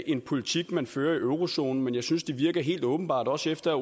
en politik man fører i eurozonen men jeg synes der virker helt åbenbart også efter